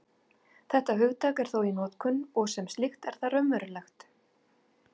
Þetta hugtak er þó í notkun, og sem slíkt er það raunverulegt.